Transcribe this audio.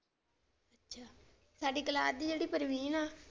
ਸਾਡੀ ਕਲਾਸ ਦੀ ਜਿਹੜੀ ਪ੍ਰਵੀਨ ਆ ਨਾ।